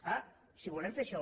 clar si volem fer això